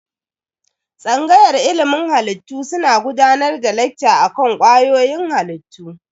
Tsangayar ilimin halittu suna gudanar da lekca akan kwayoyin halittu.